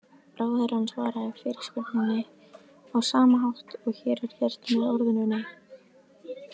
Ráðherrann svaraði fyrirspurninni á sama hátt og hér er gert, með orðinu nei.